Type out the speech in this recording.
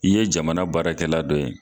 I ye jamana baara kɛ la dɔ ye